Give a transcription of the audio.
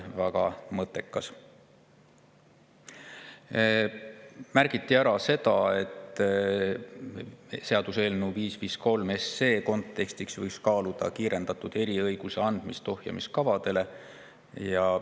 Märgiti ära, et seaduseelnõu 553 kontekstis võiks kaaluda kiirendatud eriõiguse andmist ohjamis.